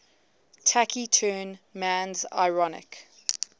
taciturn man's ironic